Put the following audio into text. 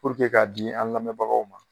k'a di an' lamɛbagaw ma